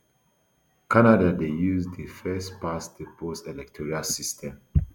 canada dey use di firstpastthepost electoral system